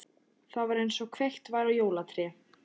Það var einsog kveikt væri á jólatré.